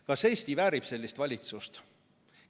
Kas Eesti väärib sellist valitsust?